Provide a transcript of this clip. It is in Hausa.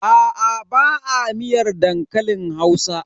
Aa ba a miyar dankalin Hausa.